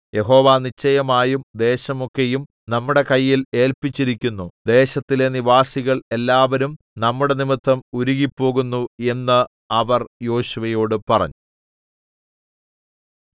യഹോവ നിശ്ചയമായും ദേശമൊക്കെയും നമ്മുടെ കയ്യിൽ ഏല്പിച്ചിരിക്കുന്നു ദേശത്തിലെ നിവാസികൾ എല്ലാവരും നമ്മുടെ നിമിത്തം ഉരുകിപ്പോകുന്നു എന്ന് അവർ യോശുവയോട് പറഞ്ഞു